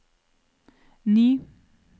ny